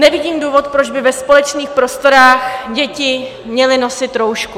Nevidím důvod, proč by ve společných prostorách děti měly nosit roušku.